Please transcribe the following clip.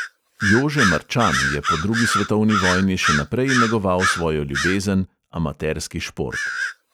Jože marčan je po drugi svetovni vojni še naprej negoval svojo ljubezen amaterski šport.